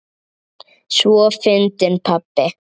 Svo fyndinn pabbi!